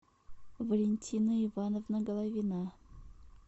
валентина ивановна головина